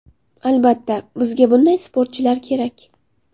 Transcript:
Albatta, bizga bunday sportchilar kerak.